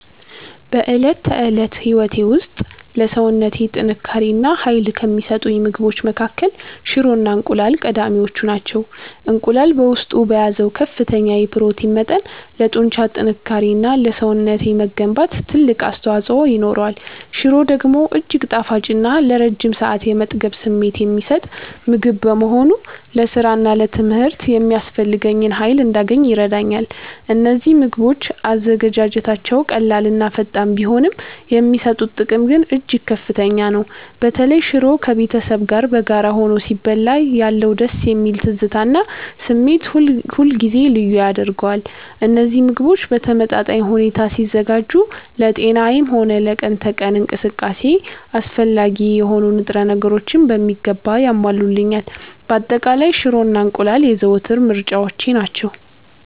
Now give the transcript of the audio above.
በዕለት ተዕለት ሕይወቴ ውስጥ ለሰውነቴ ጥንካሬ እና ኃይል ከሚሰጡኝ ምግቦች መካከል ሽሮ እና እንቁላል ቀዳሚዎቹ ናቸው። እንቁላል በውስጡ በያዘው ከፍተኛ የፕሮቲን መጠን ለጡንቻ ጥንካሬ እና ለሰውነቴ መገንባት ትልቅ አስተዋፅኦ ይኖረዋል። ሽሮ ደግሞ እጅግ ጣፋጭ እና ለረጅም ሰዓት የመጥገብ ስሜት የሚሰጥ ምግብ በመሆኑ ለሥራና ለትምህርት የሚያስፈልገኝን ኃይል እንዳገኝ ይረዳኛል። እነዚህ ምግቦች አዘገጃጀታቸው ቀላልና ፈጣን ቢሆንም፣ የሚሰጡት ጥቅም ግን እጅግ ከፍተኛ ነው። በተለይ ሽሮ ከቤተሰብ ጋር በጋራ ሆኖ ሲበላ ያለው ደስ የሚል ትዝታ እና ስሜት ሁልጊዜም ልዩ ያደርገዋል። እነዚህ ምግቦች በተመጣጣኝ ሁኔታ ሲዘጋጁ ለጤናዬም ሆነ ለቀን ተቀን እንቅስቃሴዬ አስፈላጊ የሆኑ ንጥረ ነገሮችን በሚገባ ያሟሉልኛል። በአጠቃላይ፣ ሽሮ እና እንቁላል የዘወትር ምርጫዎቼ ናቸው።